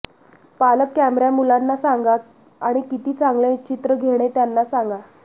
पालक कॅमेरा मुलांना सांगा आणि किती चांगले चित्र घेणे त्यांना सांगा